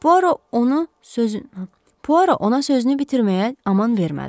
Puaro onu sözünü bitirməyə aman vermədi.